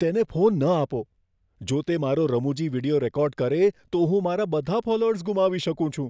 તેને ફોન ન આપો. જો તે મારો રમૂજી વીડિયો રેકોર્ડ કરે, તો હું મારા બધા ફોલોઅર્સ ગુમાવી શકું છું.